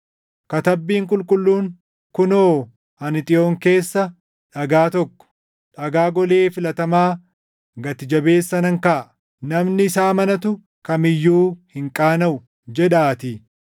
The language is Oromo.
Katabbiin Qulqulluun, “Kunoo, ani Xiyoon keessa, dhagaa tokko, dhagaa golee filatamaa gati jabeessa nan kaaʼa; namni isa amanatu kam iyyuu hin qaanaʼu” + 2:6 \+xt Isa 28:16\+xt* jedhaatii.